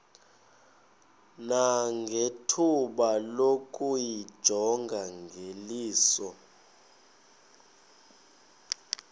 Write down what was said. nangethuba lokuyijonga ngeliso